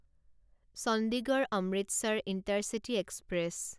Chandigarh Amritsar intercity express